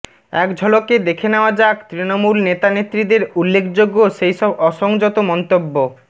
একঝলকে দেখে নেওয়া যাক তৃণমূল নেতানেত্রীদের উল্লেখযোগ্য সেই সব অসংযত মন্তব্য